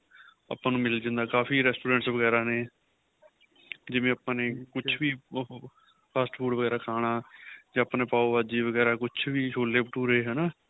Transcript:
ਆਪਾਂ ਨੂੰ ਮਿਲ ਜਾਂਦਾ ਏ ਕਾਫ਼ੀ Restaurants ਵਗੇਰਾ ਨੇ ਜਿਵੇਂ ਆਪਾਂ ਨੇ ਕੁੱਛ ਵੀ ਉਹ fast food ਵਗੇਰਾ ਖਾਨਾਂ ਤੇ ਆਪਾਂ ਪਾਹੋ ਭਾਜੀ ਵਗੇਰਾ ਕੁੱਛ ਵੀ ਛੋਲੇ ਭਟੂਰੇ ਹੈਨਾ